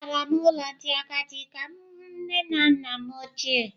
Agara m n’ụlọ ndị agadi ka m hụ nne na nna m ochie.